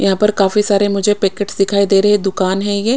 यहा पर काफी सारे मुझे पेकेट दिखाई दे रहे है दुकान है ये--